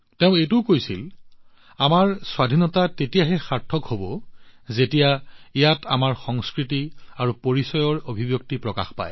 তেওঁ লগতে কৈছিল আমাৰ স্বাধীনতা তেতিয়াহে অৰ্থপূৰ্ণ হব পাৰে যেতিয়া ই আমাৰ সংস্কৃতি আৰু পৰিচয় প্ৰকাশ কৰে